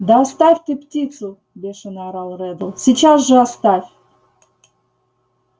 да оставь ты птицу бешено орал реддл сейчас же оставь